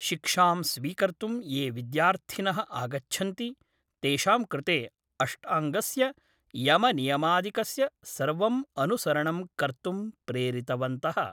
शिक्षां स्वीकर्तुं ये विद्यार्थिन: आगच्छन्ति तेषाम् कृते अष्टाङ्गस्य यमनियमादिकस्य सर्वम् अनुसरणं कर्तुं प्रेरितवन्तः